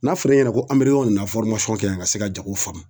N'a fɔr'i ɲɛna ko an bɛ yɔrɔ min na kɛ yan ka se ka jago faamu